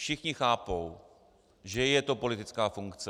Všichni chápou, že je to politická funkce.